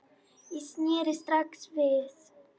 Ég sneri strax við.